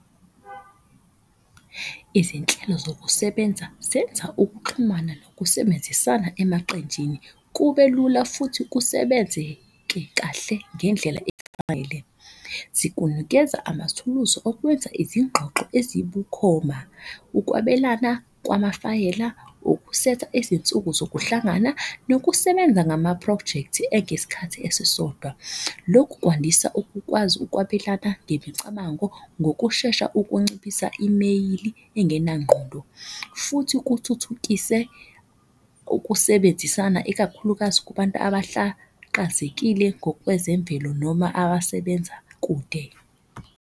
Izinhlelo zokusebenza zenza ukuxhumana nokusebenzisana emaqenjini kube lula futhi kusebenzeke kahle ngendlela . Zikunikeza amathuluzi okwenza izingxoxo ezibukhoma, ukwabelana kwamafayela. Ukusetha izinsuku sokuhlangana nokusebenza ngama-project engesikhathi esisodwa. Lokhu kwandisa ukukwazi ukwabelana ngemicabango ngokushesha, ukunciphisa imeyili engenangqondo. Futhi kuthuthukise ukusebenzisana, ikakhulukazi kubantu abahlakazekile ngokwezemvelo noma abasebenza kude.